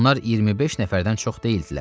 Onlar 25 nəfərdən çox deyildilər.